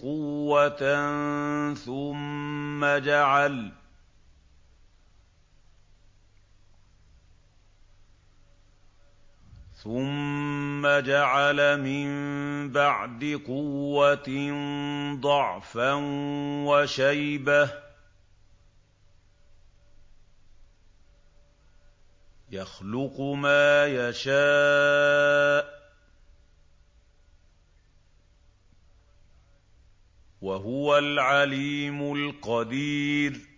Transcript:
قُوَّةً ثُمَّ جَعَلَ مِن بَعْدِ قُوَّةٍ ضَعْفًا وَشَيْبَةً ۚ يَخْلُقُ مَا يَشَاءُ ۖ وَهُوَ الْعَلِيمُ الْقَدِيرُ